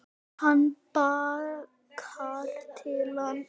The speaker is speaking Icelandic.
Og bakkar til hans.